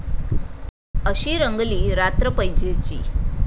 अशी रंगली रात्र पैजेची